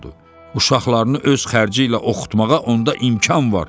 Uşaqlarını öz xərci ilə oxutmağa onda imkan var.